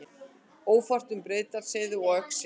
Ófært er um Breiðdalsheiði og Öxi